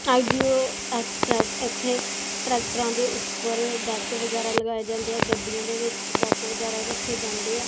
ਆਇਡੀਓ express ਏੱਥੇ ਟ੍ਰੈਕਟਰਾਂ ਦੇ ਊਪਰ ਡੈੱਕ ਵਗੈਰਾ ਲਗਾਏ ਜਾਂਦੇ ਹੈ ਗਡੀਆਂ ਦੇ ਵਿੱਚ ਡੈੱਕ ਵਗੈਰਾ ਰੱਖੇ ਜਾਂਦੇ ਆਂ।